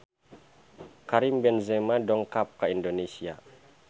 Karim Benzema dongkap ka Indonesia